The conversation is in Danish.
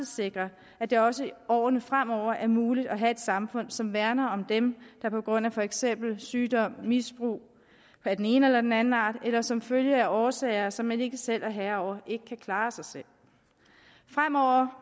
sikre at det også i årene fremover er muligt at have et samfund som værner om dem der på grund af for eksempel sygdom misbrug af den ene eller den anden art eller som følge af årsager som man ikke selv er herre over ikke kan klare sig selv fremover